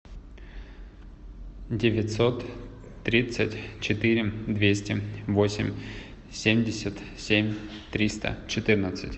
девятьсот тридцать четыре двести восемь семьдесят семь триста четырнадцать